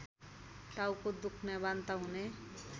टाउको दुख्ने वान्ता हुने